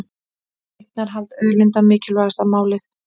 Eignarhald auðlinda mikilvægasta málið